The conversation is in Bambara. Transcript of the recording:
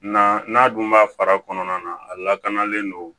Na n'a dun b'a fara kɔnɔna na a lakanalen don